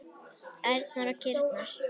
Ærnar og kýrnar.